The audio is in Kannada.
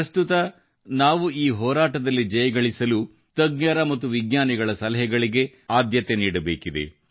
ಪ್ರಸ್ತುತ ನಾವು ಈ ಹೋರಾಟದಲ್ಲಿ ಜಯಗಳಿಸಲು ತಜ್ಞರ ಮತ್ತು ವಿಜ್ಞಾನಿಗಳ ಸಲಹೆಗಳಿಗೆ ಆದ್ಯತೆ ನೀಡಬೇಕಿದೆ